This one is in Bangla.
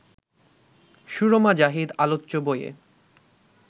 সুরমা জাহিদ আলোচ্য বইয়ে